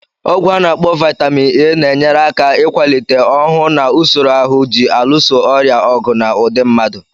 Ọgwụ. ana akpo Vaitamin A, na-enyere aka ịkwalite ọhụụ na usoro ahụ ji alụso ọrịa ọgụ na ụdi mmadụ